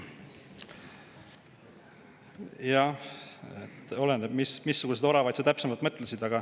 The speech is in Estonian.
Jah, oleneb, missuguseid oravaid sa täpsemalt mõtled.